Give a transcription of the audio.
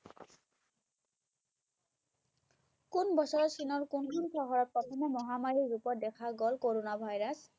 কোন বছৰত চীনৰ কোনখন চহৰত প্ৰথমে মহামাৰী ৰূপত দেখা গ'ল কৰোণা virus